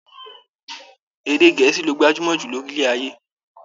Èdè Gẹ̀ẹ́sì ló gbajúmọ̀ jù lórílẹ̀ ayé